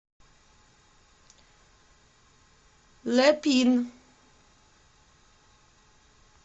лэ пин